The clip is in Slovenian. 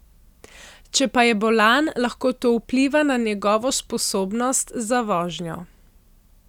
Če pa je bolan, lahko to vpliva na njegovo sposobnost za vožnjo.